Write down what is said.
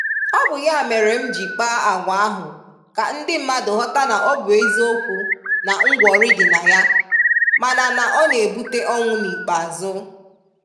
Ọ bụ ya mere m ji kpaa agwa ahụ ka ndị mmadụ ghọta na ọ bụ eziokwu na ngwọrị dị na ya, mana na ọ na-ebute ọnwụ n’ikpeazụ.